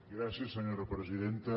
gràcies senyora presidenta